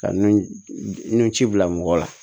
Ka nun ci bila mɔgɔ la